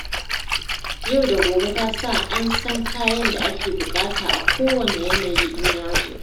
Yau da gobe ta sa an san kayan da ake buƙata a kowane yanayi in yazo.